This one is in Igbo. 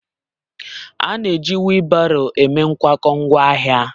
A na-eji wheelbarrow eme nkwakọ ngwaahịa.